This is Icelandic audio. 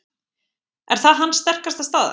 Er það hans sterkasta staða?